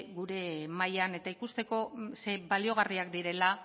gure mahaian eta ikusteko zein baliagarriak direla